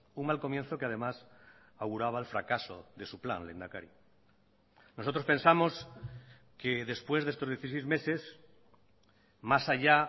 un mal comienzo que además auguraba el fracaso de su plan lehendakari nosotros pensamos que después de estos dieciséis meses más allá